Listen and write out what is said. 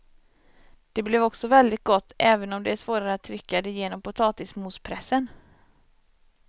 Det blev också väldigt gott även om det är svårare att trycka det genom potatismospressen.